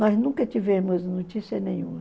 Nós nunca tivemos notícia nenhuma.